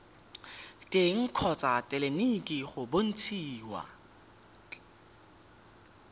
teng kgotsa tleleniki go bontshiwa